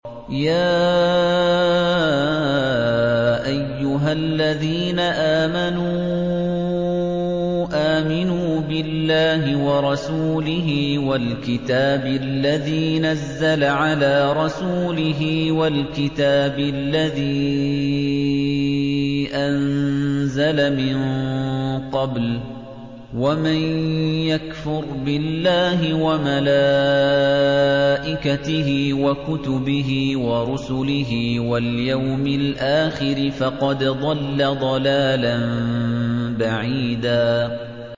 يَا أَيُّهَا الَّذِينَ آمَنُوا آمِنُوا بِاللَّهِ وَرَسُولِهِ وَالْكِتَابِ الَّذِي نَزَّلَ عَلَىٰ رَسُولِهِ وَالْكِتَابِ الَّذِي أَنزَلَ مِن قَبْلُ ۚ وَمَن يَكْفُرْ بِاللَّهِ وَمَلَائِكَتِهِ وَكُتُبِهِ وَرُسُلِهِ وَالْيَوْمِ الْآخِرِ فَقَدْ ضَلَّ ضَلَالًا بَعِيدًا